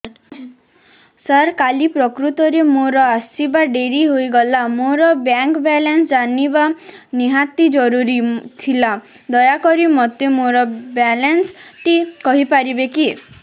ସାର କାଲି ପ୍ରକୃତରେ ମୋର ଆସିବା ଡେରି ହେଇଗଲା ମୋର ବ୍ୟାଙ୍କ ବାଲାନ୍ସ ଜାଣିବା ନିହାତି ଜରୁରୀ ଥିଲା ଦୟାକରି ମୋତେ ମୋର ବାଲାନ୍ସ ଟି କହିପାରିବେକି